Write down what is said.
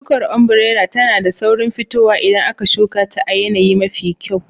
Shukar ombirela tana da saurin fitowa idan aka shuka ta a yanayi mafi kyau.